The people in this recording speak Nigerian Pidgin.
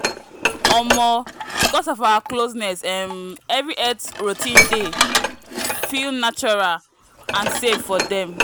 omo because of our closeness um every health routine dey feel natural and safe for them.